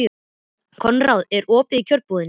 Konráð, er opið í Kjörbúðinni?